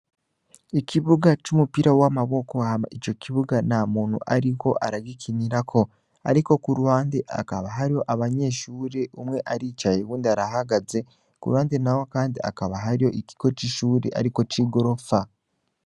Ikibuga c'umupira w'amaboko, hama ico kibuga nta muntu ariko aragikinirako. Ariko ku ruhande, hakaba hariho abanyeshure, umwe aricaye uwundi arahagaze. Ku ruhande naho kandi hakaba hariho ikigo c'ishure ariko c'igorofa.